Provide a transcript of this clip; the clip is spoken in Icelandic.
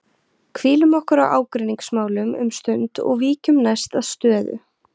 Hvílum okkur á ágreiningsmálum um stund og víkjum næst að stöðu